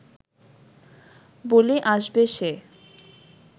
বলে আসবে সে